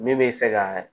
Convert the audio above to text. Min bɛ se ka